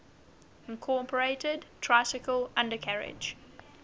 incorporated tricycle undercarriage